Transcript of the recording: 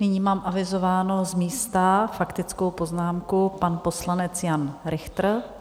Nyní mám avizovanou z místa faktickou poznámku, pan poslanec Jan Richter.